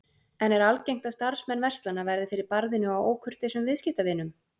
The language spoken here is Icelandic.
En er algengt að starfsmenn verslana verði fyrir barðinu á ókurteisum viðskiptavinum?